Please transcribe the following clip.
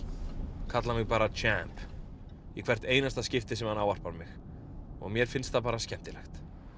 kallar mig bara Champ í hvert einasta skipti sem hann ávarpar mig mér finnst það skemmtilegt